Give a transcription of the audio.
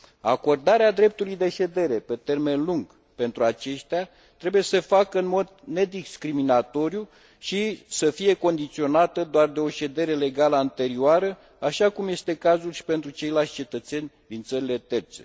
Acordarea dreptului de ședere pe termen lung pentru aceștia trebuie să se facă în mod nediscriminatoriu și să fie condiționată doar de o ședere legală anterioară, așa cum este cazul și pentru ceilalți cetățeni din țările terțe.